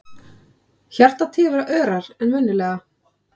Hjartað tifar örar en venjulega.